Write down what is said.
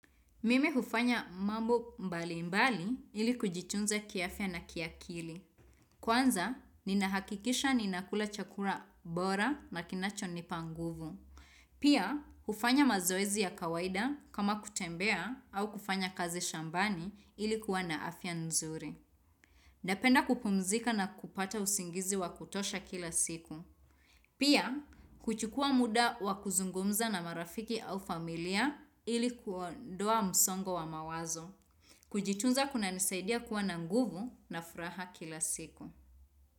Mimi hufanya mambo mbali mbali ili kujitunza kiafya na ki akili. Kwanza, ninahakikisha ninakula chakura bora na kinacho nipanguvu. Pia, hufanya mazoezi ya kawaida kama kutembea au kufanya kazi shambani ili kuwa na afya nzuri. Napenda kupumzika na kupata usingizi wa kutosha kila siku. Pia, kuchukua muda wa kuzungumza na marafiki au familia ili kuondoa msongo wa mawazo. Kujitunza kuna nisaidia kuwa na nguvu na furaha kila siku.